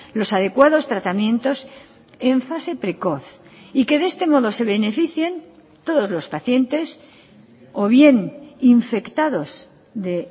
los adecuados tratamientos en fase precoz y que de este modo se beneficien todos los pacientes o bien infectados de